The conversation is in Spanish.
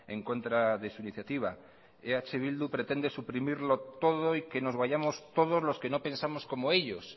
en contra de su iniciativa eh bildu pretende suprimirlo todo y que nos vayamos todos los que no pensamos como ellos